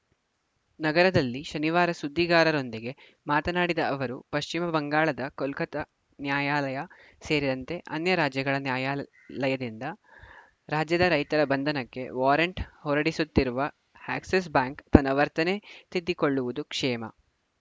ನಗರದಲ್ಲಿ ಶನಿವಾರ ಸುದ್ದಿಗಾರರೊಂದಿಗೆ ಮಾತನಾಡಿದ ಅವರು ಪಶ್ಚಿಮ ಬಂಗಾಳದ ಕೊಲ್ಕತಾ ನ್ಯಾಯಾಲಯ ಸೇರಿದಂತೆ ಅನ್ಯ ರಾಜ್ಯಗಳ ನ್ಯಾಯಾಲಯದಿಂದ ರಾಜ್ಯದ ರೈತರ ಬಂಧನಕ್ಕೆ ವಾರೆಂಟ್‌ ಹೊರಡಿಸುತ್ತಿರುವ ಎಕ್ಸಿಸ್‌ ಬ್ಯಾಂಕ್‌ ತನ್ನ ವರ್ತನೆ ತಿದ್ದಿಕೊಳ್ಳುವುದು ಕ್ಷೇಮ